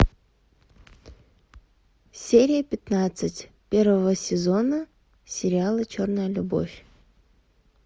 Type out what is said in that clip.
серия пятнадцать первого сезона сериала черная любовь